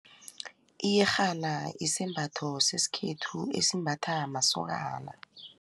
Iyerhana isembatho sesikhethu esimbatha masokana.